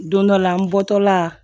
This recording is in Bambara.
Don dɔ la n bɔtɔla